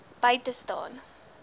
by te staan